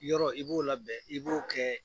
Yɔrɔ i b'o labɛn, i b'o kɛ